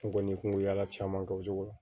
N kɔni kun ye yaala caman kɛ o cogo la